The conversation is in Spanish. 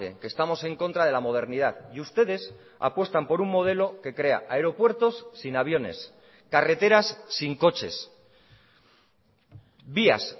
que estamos en contra de la modernidad y ustedes apuestan por un modelo que crea aeropuertos sin aviones carreteras sin coches vías